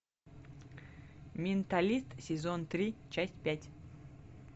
менталист сезон три часть пять